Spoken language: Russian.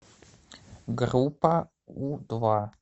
группа у два